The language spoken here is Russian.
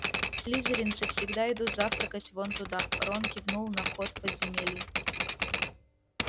слизеринцы всегда идут завтракать вон оттуда рон кивнул на вход в подземелье